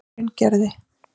Hraungerði